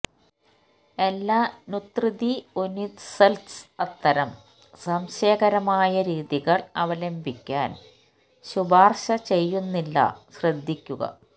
എല്ലാ നുത്രിതിഒനിസ്ത്സ് അത്തരം സംശയകരമായ രീതികൾ അവലംബിക്കാൻ ശുപാർശ ചെയ്യുന്നില്ല ശ്രദ്ധിക്കുക